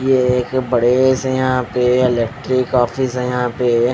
ये एक बड़े से यहाँ पे इलेक्ट्रिक ऑफिस है यहाँ पे--